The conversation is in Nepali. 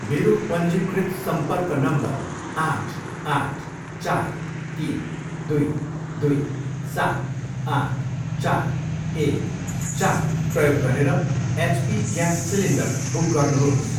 मेरो पञ्जीकृत सम्पर्क नम्बर आठ, आठ, चार, तिन, दुई, दुई, सात, आठ, चार, एक, चार प्रयोग गरेर एचपी ग्यास सिलिन्डर बुक गर्नुहोस्।